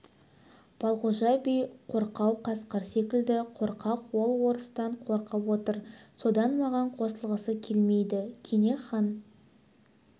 балғожа би қорқау қасқыр секілді қорқақ ол орыстан қорқып отыр содан маған қосылғысы келмейді кене хан